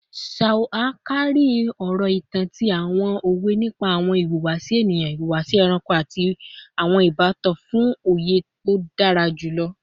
Ṣawakiri ọrọ itan ti awọn owe nipa awọn ihuwasi eniyan, ihuwasi ẹranko, ati awọn ibatan fun oye to dara julọ